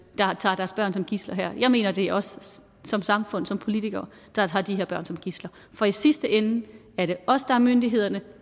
der tager deres børn som gidsler her jeg mener det er os som samfund som politikere der tager de her børn som gidsler for i sidste ende er det os der er myndighederne